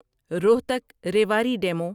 Rohtak Rewari demo